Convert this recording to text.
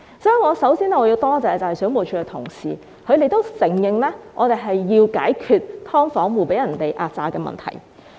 所以，我首先要多謝水務署的同事，他們認同我們是要解決"劏房"租戶被壓榨的問題。